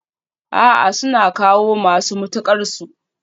A'a, suna kawo masu mutuƙar su